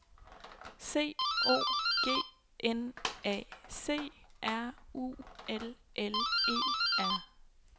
C O G N A C R U L L E R